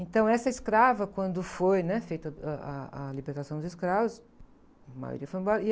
Então, essa escrava, quando foi, né? Feita, ãh, a, a libertação dos escravos, a maioria foi embora.